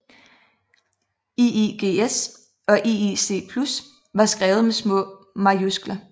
IIGS og IIC Plus var skrevet med små majuskler